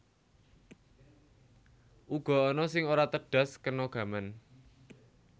Uga ana sing ora tedhas kena gaman